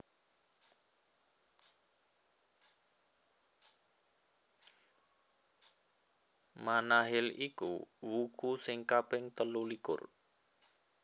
Manahil iku wuku sing kaping telulikur